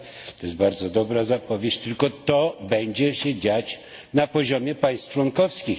to jest bardzo dobra zapowiedź, tylko to będzie się dziać na poziomie państw członkowskich.